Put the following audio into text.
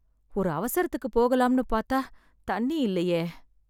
ஒரு அவசரத்துக்கு போகலாம்னு பாத்தா தண்ணி இல்லையே.